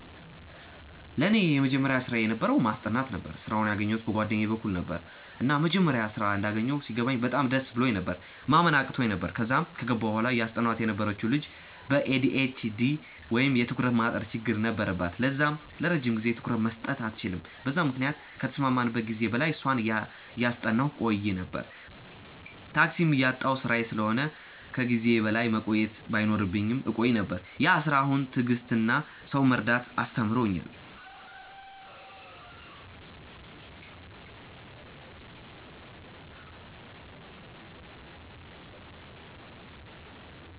ለኔ የመጀመሪያ ስራየ የነበረው ማስጠናት ነበረ። ስራውን ያገኘዉት በ ጓደኛየ በኩል ነበረ፤ እና መጀመሪያ ስራ እንዳገኘው ሲገባኝ በጣም ደስ ብሎኝ ነበር፤ ማመን አቅቶኝ ነበር፤ ከዛም ከገባው በኋላ እያስጠናዋት የነበረችው ልጅ በ ኤ.ዲ.ኤ.ች.ዲ ወይም የ ትኩረት ማጠር ችግር ነበረባት ለዛም ለረጅም ጊዜ ትኩረት መስጠት አትችልም በዛም ምክንያት ከተስማማንበት ጊዜ በላይ እሷን እያጠናው ቆይ ነበር፤ እየመብኝም፤ ታክሲም እያጣው ስራዬ ስለሆነ እና ከ ጊዜዬ በላይ መቆየት ባይኖርብኝም እቆይ ነበር፤ ያ ስራ አሁን ትዕግስትን እና ሰውን መረዳትን አስተምሮኛል።